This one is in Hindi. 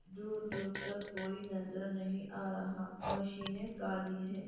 दूर दूर तक कोई नजर नहीं आ रहा मशीने काली है।